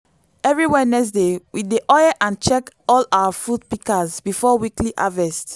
every wednesday we dey oil and check all our fruit pikas before weekly harvest